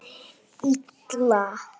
LÁRUS: Illa!